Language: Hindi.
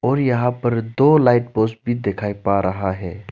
और यहां पर दो लाइट पोस्ट भी दिखाई पा रहा है।